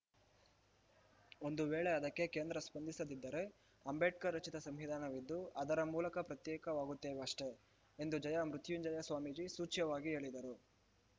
ಒಂದು ವೇಳೆ ಅದಕ್ಕೆ ಕೇಂದ್ರ ಸ್ಪಂದಿಸದಿದ್ದರೆ ಅಂಬೇಡ್ಕರ್‌ ರಚಿತ ಸಂವಿಧಾನವಿದ್ದು ಅದರ ಮೂಲಕ ಪ್ರತ್ಯೇಕವಾಗುತ್ತೇವಷ್ಟೇ ಎಂದು ಜಯ ಮೃತ್ಯುಂಜಯ ಸ್ವಾಮೀಜಿ ಸೂಚ್ಯವಾಗಿ ಹೇಳಿದರು